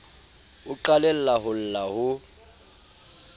o qalella ho lla ho